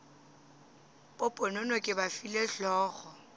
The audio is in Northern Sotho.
poponono ke ba file hlogo